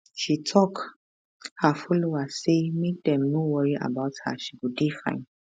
she tok her followers say make dem no worry about her she go dey fine